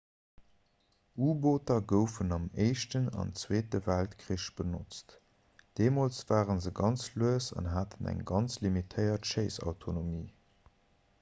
u-booter goufen am éischten an zweete weltkrich benotzt deemools ware se ganz lues an haten eng ganz limitéiert schéissautonomie